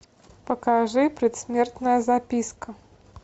покажи предсмертная записка